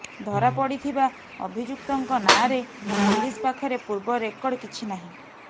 ଧାରା ପଡି ଥିବା ଅଭିଯୁକ୍ତଙ୍କ ନାଁରେ ପୋଲିସ ପାଖରେ ପୂର୍ବ ରେକର୍ଡ କିଛି ନାହିଁ